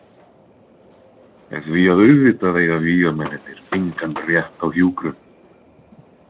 Því að auðvitað eiga vígamennirnir engan rétt á hjúkrun.